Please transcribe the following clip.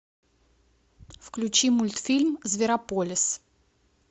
включи мультфильм зверополис